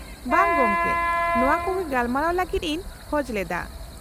-ᱵᱟᱝ ᱜᱚᱢᱠᱮ, ᱱᱚᱶᱟ ᱠᱚᱜᱮ ᱜᱟᱯᱟᱞᱢᱟᱨᱟᱣ ᱞᱟᱹᱜᱤᱫ ᱤᱧ ᱠᱷᱚᱡ ᱞᱮᱫᱟ ᱾